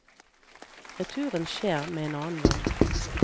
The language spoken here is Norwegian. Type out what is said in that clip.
Returen skjer med en annen vogn.